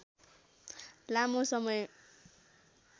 लामो समय